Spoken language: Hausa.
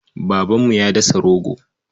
Babanmu ya dasa rogo.